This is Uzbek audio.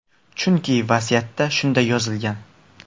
Chunki vasiyatda shunday yozilgan.